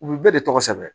U bɛ bɛɛ de tɔgɔ sɛbɛn